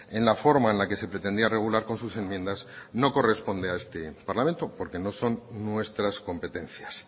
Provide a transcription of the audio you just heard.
en la forma en la que se pretendía regular con sus enmiendas no corresponde a este parlamento porque no son nuestras competencias